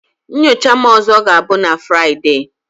Nyocha m ọzọ ga-abụ na Fraịdee